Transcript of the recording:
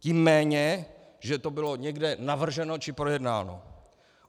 Tím méně, že to bylo někde navrženo či projednáno.